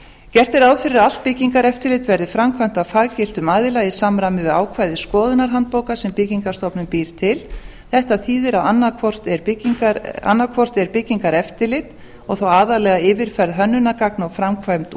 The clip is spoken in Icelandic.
gert er ráð fyrir að allt byggingareftirlit verði framkvæmt af faggiltum aðila í samræmi við ákvæði skoðunarhandbóka sem byggingarstofnun býr til þetta þýðir að annaðhvort er byggingareftirlit og þá aðallega yfirferð hönnunargagna og framkvæmd